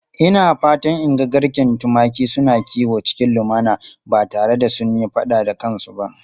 Ina fatan in ga garken tumaki suna kiwo cikin lumana ba tare da sun yi fada da kansu ba.